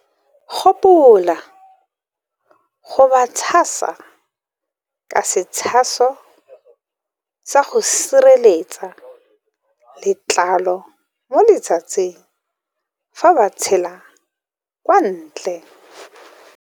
Gopola go ba tshasa ka setshaso sa go sireletsa letlalo mo letsatsing fa ba tswela kwa ntle.